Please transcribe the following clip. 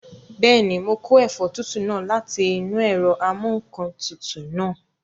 Bẹ́ẹ̀ni, mo kó ẹ̀fọ́ tútù náà láti inú ẹ̀rọ amúǹkantutù náà